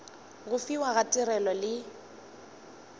go fiwa ga tirelo le